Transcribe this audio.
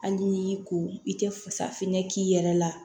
Hali n'i y'i ko i tɛ fasafinɛ k'i yɛrɛ la